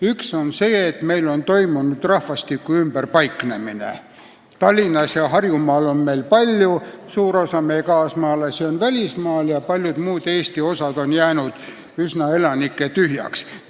Üks on see, et meil on toimunud rahvastiku ümberpaiknemine: Tallinnas ja Harjumaal on palju inimesi, suur osa meie kaasmaalasi on välismaal ja paljud Eesti osad on jäänud elanikest üsna tühjaks.